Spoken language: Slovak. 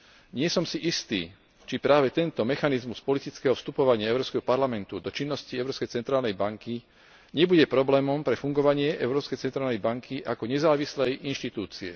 Nie som si istý, či práve tento mechanizmus politického vstupovania Európskeho parlamentu do činnosti Európskej centrálnej banky nebude problémom pre fungovanie Európskej centrálnej banky ako nezávislej inštitúcie.